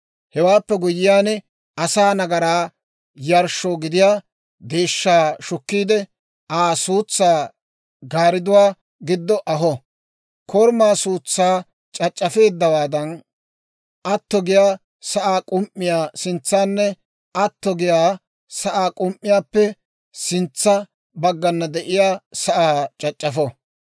«Hewaappe guyyiyaan asaa nagaraa yarshshoo gidiyaa deeshshaa shukkiide, Aa suutsaa gaaridduwaa giddo aho; korumaa suutsaa c'ac'c'afeeddawaadan, atto giyaa sa'aa k'um"iyaa sintsaanne atto giyaa sa'aa k'um"iyaappe sintsa baggana de'iyaa sa'aa c'ac'c'afo.